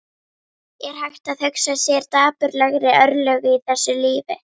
Er hægt að hugsa sér dapurlegri örlög í þessu lífi?